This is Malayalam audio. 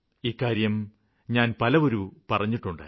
ഇക്കാര്യം ഞാന് പലവുരു പറഞ്ഞിട്ടുണ്ട്